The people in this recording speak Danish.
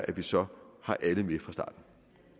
at vi så har alle med fra starten